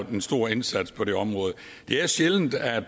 en stor indsats på det område det er sjældent at